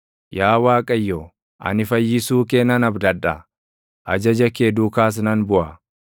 Yaa Waaqayyo, ani fayyisuu kee nan abdadha; ajaja kee duukaas nan buʼa.